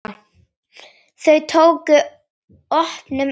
Þau tóku okkur opnum örmum.